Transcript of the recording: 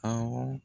Awɔ